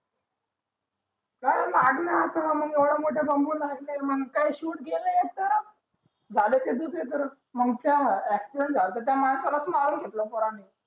लागलय आता मंग एवढा मोठा लागलाय म्हणे काय shoot गेलयेत जाला ते दुसरी कडेच मंग त्या accident जलत्या त्या मानसालाच मारू शकल पोरांनी